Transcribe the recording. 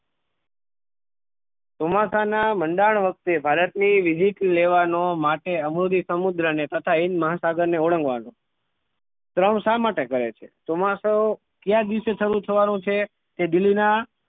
ચોમાસા ના મંડાણ વખતે ભારત ની visit લેવાનો માટે અરબી સમુદ્ર ને તથા હિન્દ મહાસાગર ને ઓળગવાનો ક્રમ શા માટે કહે છે ચોમાસું કયા દિવસે શરૂ થવાનો છે તે દિન ના